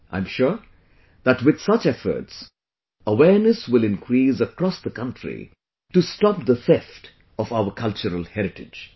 I am sure that with such efforts, awareness will increase across the country to stop the theft of our cultural heritage